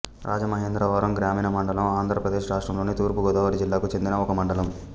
రాజమహేంద్రవరం గ్రామీణ మండలం ఆంధ్రప్రదేశ్ రాష్ట్రంలోని తూర్పు గోదావరి జిల్లాకు చెందిన ఒక మండలం